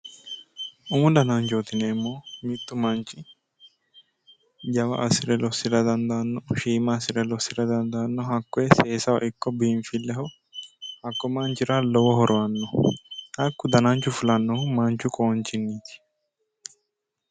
Umu dananchoti yinneemmohu mitu manchi jawa assire lossira dandaano ,shiima assire lossira dandaano hakkoe seensileho ikko biinfileho hakku manchira lowo horo aano hakku dananchu fulanohu manchu qonchiniti.